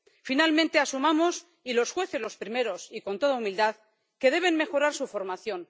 Finalmente asumamos, y los jueces los primeros, y con toda humildad, que deben mejorar su formación.